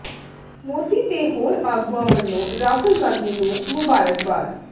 ਮੋਦੀ ਤੇ ਹੋਰ ਆਗੂਆਂ ਵੱਲੋਂ ਰਾਹੁਲ ਗਾਂਧੀ ਨੂੰ ਮੁਬਾਰਕਬਾਦ